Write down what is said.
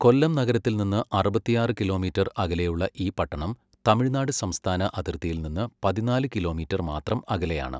കൊല്ലം നഗരത്തിൽ നിന്ന് അറുപത്തിയാറ് കിലോമീറ്റർ അകലെയുള്ള ഈ പട്ടണം തമിഴ്നാട് സംസ്ഥാന അതിർത്തിയിൽ നിന്ന് പതിനാല് കിലോമീറ്റർ മാത്രം അകലെയാണ്.